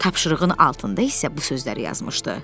Tapşırığın altında isə bu sözləri yazmışdı: